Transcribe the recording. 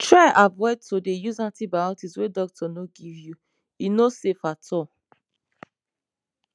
try avoid to dey use antibiotics wey doctor no give you e no safe at all